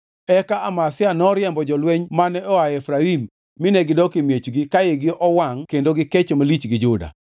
Eka Amazia noriembo jolweny mane oa Efraim mine gidok e miechgi ka igi owangʼ kendo gikecho malich gi Juda.